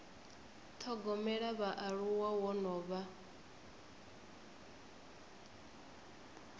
thogomela vhaaluwa wo no vha